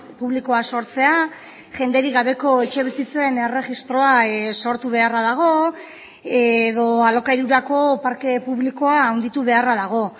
publikoa sortzea jenderik gabeko etxebizitzen erregistroa sortu beharra dago edo alokairurako parke publikoa handitu beharra dago